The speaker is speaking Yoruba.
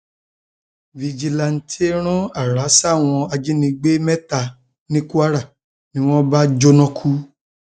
fíjìnnàtẹ rán ààrá sáwọn ajínigbé um mẹta ní kwara ni wọn bá um jóná kú